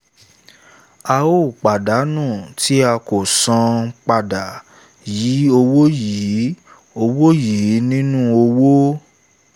a óò pàdánù tí a kò san padà yìí owó yìí owó yìí nínú wó